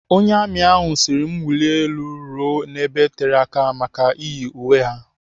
Onye amị sịrị m wulie elu ruo n'ebe tere aka maka iyi uwe ha.